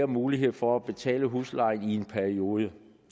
mulighed for at betale husleje i en periode